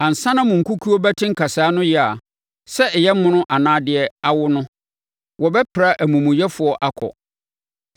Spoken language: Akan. Ansa na mo nkukuo bɛte nkasɛɛ ano yea, sɛ ɛyɛ mono anaa deɛ awo no, wɔbɛpra amumuyɛfoɔ akɔ.